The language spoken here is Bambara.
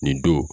Nin don